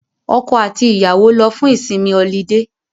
Ọkọ àti ìyàwó lọ fún ìsinmi ọlidé